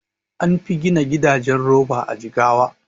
Anfi gina gidajen roba a Jigawa